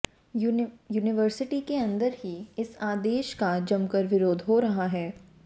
university के अंदर ही इस आदेश का जमकर विरोध हो रहा है